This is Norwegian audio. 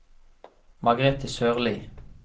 Margrete Sørlie